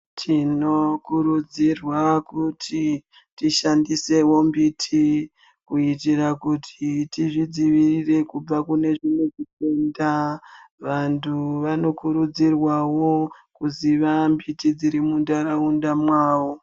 Tinokurudzirwa kuti tishandisewo mbiti kuitira kuti tizvidzivirire kubva kune kufunda vantu vanokurudzirwa kuziva mbiti dziri mundaraunda mawo.